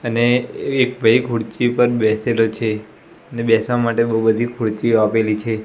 અને એક ભઈ ખુરચી પર બેસેલો છે અને બેસવા માટે બો બધી ખુર્ચિઓ આપેલી છે.